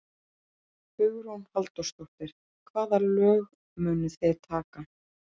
Hugrún Halldórsdóttir: Hvaða lög munuð þið taka?